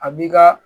A b'i ka